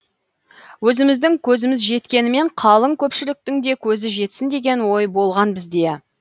өзіміздің көзіміз жеткенімен қалың көпшіліктің де көзі жетсін деген ой болған бізде